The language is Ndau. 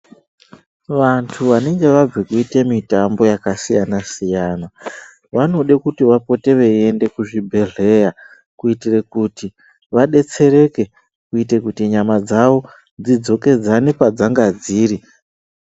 Vandu vanenge vabve kuita mutambo yaakasiyana -siyana vanode kuti vapote veienda kuzvibhdehlera kuitire kuti vadetsereke kuite kuti nyama dzavo dzidzokedzane padzanga dziri.